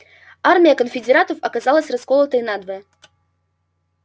армия конфедератов оказалась расколотой надвое